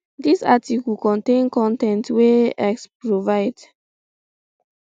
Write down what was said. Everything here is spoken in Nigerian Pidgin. dis article contain con ten t wey um x provide